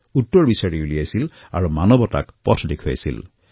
ইয়াৰ উত্তৰ সন্ধান কৰি মানৱতাক তেওঁ পথ দেখুৱালে